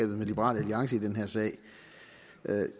med liberal alliance i den her sag